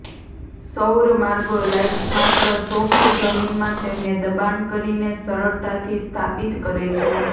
સૌર માર્ગો લાઈટ્સ માત્ર સોફ્ટ જમીનમાં તેમને દબાણ કરીને સરળતાથી સ્થાપિત કરે છે